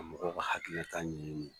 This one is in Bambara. A mɔgɔ ka hakili ka ɲin.